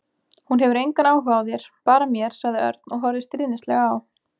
Hún hefur engan áhuga á þér, bara mér sagði Örn og horfði stríðnislega á